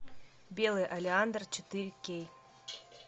белый олеандр четыре кей